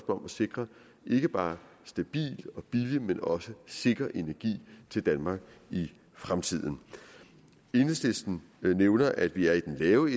om at sikre ikke bare stabil og billig men også sikker energi til danmark i fremtiden enhedslisten nævner at vi er i den lave